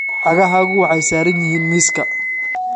Cagahaagu waxay saaran yihiin miiska